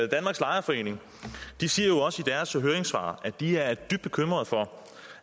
danmarks lejerforeninger siger jo også i deres høringssvar at de er dybt bekymret for